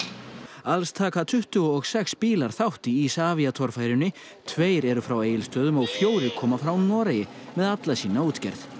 alls taka tuttugu og sex bílar þátt í torfærunni tveir eru frá Egilsstöðum og fjórir koma frá Noregi með alla sína útgerð